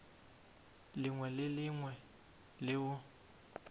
lengwe le le lengwe leo